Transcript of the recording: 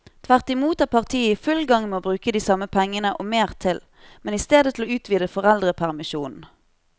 Tvert imot er partiet i full gang med å bruke de samme pengene og mer til, men i stedet til å utvide foreldrepermisjonen.